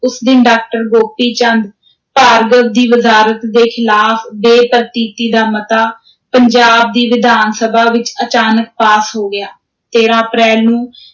ਉਸ ਦਿਨ ਡਾਕਟਰ ਗੋਪੀ ਚੰਦ ਭਾਰਗਵ ਦੀ ਵਜ਼ਾਰਤ ਦੇ ਖ਼ਿਲਾਫ਼ ਬੇ-ਪ੍ਰਤੀਤੀ ਦਾ ਮਤਾ, ਪੰਜਾਬ ਦੀ ਵਿਧਾਨ ਸਭਾ ਵਿਚ ਅਚਾਨਚਕ ਪਾਸ ਹੋ ਗਿਆ, ਤੇਰਾਂ ਅਪ੍ਰੈਲ ਨੂੰ